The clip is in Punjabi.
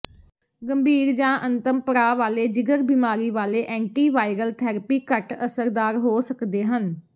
ਗੰਭੀਰ ਜਾਂ ਅੰਤਮ ਪੜਾਅ ਵਾਲੇ ਜਿਗਰ ਬਿਮਾਰੀ ਵਾਲੇ ਐਂਟੀਵਾਇਰਲ ਥੈਰੇਪੀ ਘੱਟ ਅਸਰਦਾਰ ਹੋ ਸਕਦੇ ਹਨ